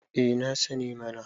eh na sani mana